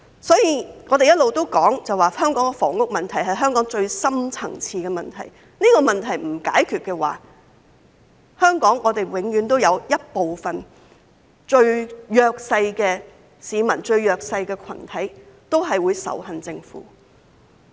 所以，我們一直提出房屋問題是香港最深層次的問題，如果這個問題不解決，香港永遠都有一部分最弱勢的市民、最弱勢的群體會仇恨政府。